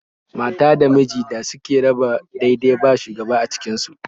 Mata da mijin da suke raba dai-dai ba shugaba a cikin su